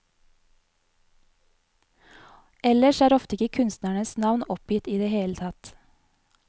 Ellers er ofte ikke kunstnerens navn oppgitt i det hele tatt.